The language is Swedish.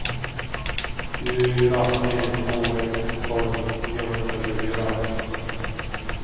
fyra tre två ett tolv niohundratjugofyra